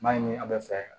N b'a ɲini an bɛ fɛ